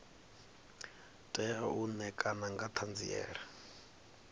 tea u ṋekana nga ṱhanziela